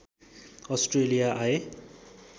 Australia आए